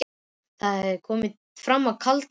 Það er komið fram í kaldan desember.